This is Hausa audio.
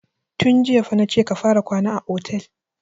Tun jiya fa na ce ka fara kwana a otel!